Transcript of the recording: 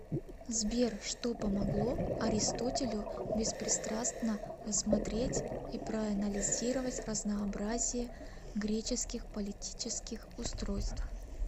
сбер что помогло аристотелю беспристрастно рассмотреть и проанализировать разнообразие греческих политических устройств